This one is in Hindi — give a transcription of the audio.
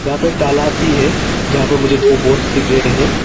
यहां पे एक तालाब भी है जहां पर मुझे दो बोट्स दिख रहे हैं।